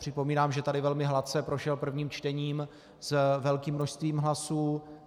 Připomínám, že tady velmi hladce prošel prvním čtením s velkým množstvím hlasů.